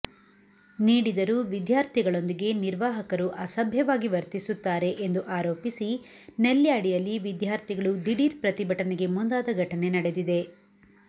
ನೀಡಿದರೂ ವಿದ್ಯಾರ್ಥಿಗಳೊಂದಿಗೆ ನಿರ್ವಾಹಕರು ಅಸಭ್ಯವಾಗಿ ವರ್ತಿಸುತ್ತಾರೆ ಎಂದು ಆರೋಪಿಸಿ ನೆಲ್ಯಾಡಿಯಲ್ಲಿ ವಿದ್ಯಾರ್ಥಿಗಳು ದಿಢೀರ್ ಪ್ರತಿಭಟನೆಗೆ ಮುಂದಾದ ಘಟನೆ ನಡೆದಿದೆ